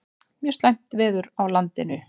Mjög slæmt veður á landinu